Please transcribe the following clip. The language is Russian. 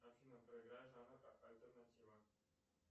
афина проиграй жанр альтернатива